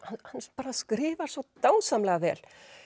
bara skrifar svo dásamlega vel